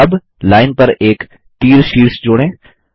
अब लाइन पर एक तीर शीर्ष जोड़ें